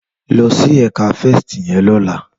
Lò si èkà Fèstí yèn lòlá